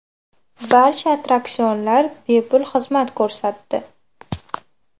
Barcha attraksionlar bepul xizmat ko‘rsatdi.